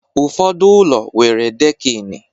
Ụfọdụ ụlọ nwere dekini